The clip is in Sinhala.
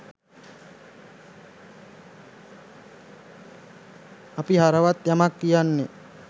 අපි හරවත් යමක් කියන්නේ